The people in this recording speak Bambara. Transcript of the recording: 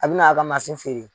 A bina a ka feere